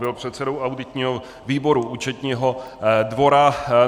Byl předsedou auditního výboru Účetního dvora.